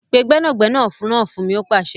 Pe gbẹ́nàgbẹnà náà fún mi! ó pàsẹ.